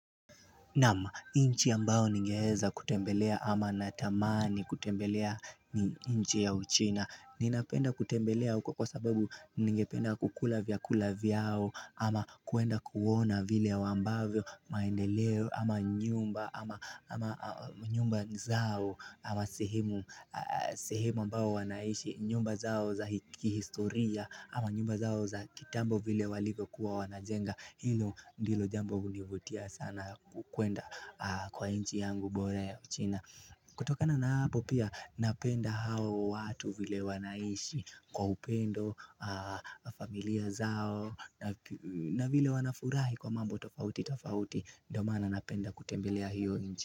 Naam nchi ambao ningeeza kutembelea ama natamani kutembelea ni nchi ya uchina Ninapenda kutembelea uko kwa sababu ningependa kukula vyakula vyao ama kuenda kuona vile ya wambavyo maendeleo ama nyumba ama nyumba zao ama sehemu sehemu ambao wanaishi, nyumba zao za hikihistoria ama nyumba zao za kitambo vile walivyo kuwa wanajenga Hilo ndilo jambo hunivutia sana kukwenda kwa nchi yangu bora ya uchina kutokana na hapo pia napenda hao watu vile wanaishi kwa upendo familia zao na vile wanafurahi kwa mambo tofauti tofauti ndo maana napenda kutembelea hiyo inchi.